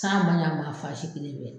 San man ɲi a ma fan si kelen